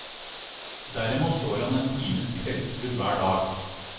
Derimot går han en times kveldstur hver dag.